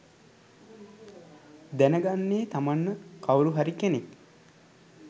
දැනගන්නේ තමන්ව කවුරු හරි කෙනෙක්